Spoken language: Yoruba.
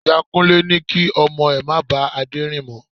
Ìyá Kúnlé ní kí ọmọ rẹ̀ má ba Adé rìn mó.